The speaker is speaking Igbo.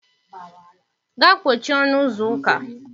Gaa kpochie ọnụ ụzọ ụka.